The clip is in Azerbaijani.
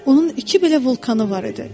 Onun iki belə vulkanı var idi.